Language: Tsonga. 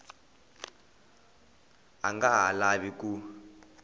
a nga ha lavi ku